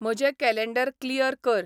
म्हजें calendar clear कर